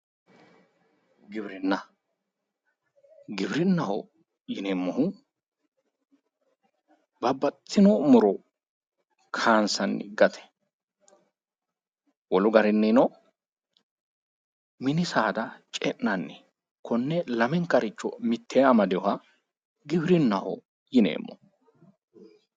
Giwirinnaho yinneemmohu babbaxitino muro kayinse horonsi'nanni gara, wolu garinino mini saada ce'nanni konne lamenkaricho mitteeni amadinoha giwirinnaho yinneemmo.